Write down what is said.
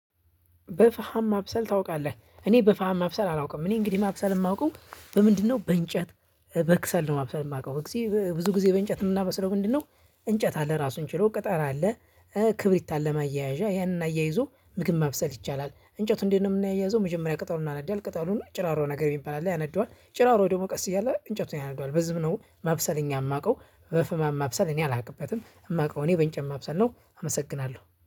በፋሃም ማብሰል ታውቃለህ? እኔ በፋሃም ማብሰል አላውቅም። እኔ እንግዲህ ማብሰል የማውቀው በምንድነው በእንጨት በክሰል ነው። ማብሰል የማውቀው ብዙ ጊዜ በእንጨት የምበስለው ምንድነው? እንጨት አለ ራሱን ችሎ ቅጠል አለ። ክብሪት አለማ አያያዣ ያንን አያይዞ ምግብ ማብሰል ይቻላል። እንጨቱ እንደው ነው የምናያዘው የመጀመሪያ ቅጠሉን እናነዳለን ቅጠሉን ጭራሮ ነገር ይባላል። ያነዳዋል ጭራሮ ደግሞ ቀስ እያለ እንጨቱን ያነደዋል በዚህም ነው ማብሰል እኛ የማውቀው። በፍማ ማብሰል እኔ አላውቅበትም። የማውቀው እኔ በንጨት ማብሰል ነው። አመሰግናለሁ